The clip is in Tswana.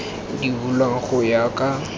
di bulwang go ya ka